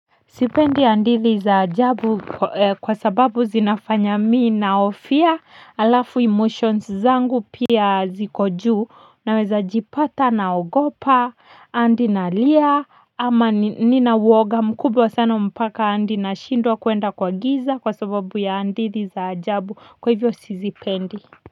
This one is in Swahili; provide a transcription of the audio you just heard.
Sipendi hadithi za ajabu kwa sababu zinafanya mi nahofia alafu emotions zangu pia ziko juu naweza jipata naogopa hadi nalia ama nina uoga mkubwa sana mpaka hadi nashindwa kuenda kwa giza kwa sababu ya hadithi za ajabu kwa hivyo sizipendi.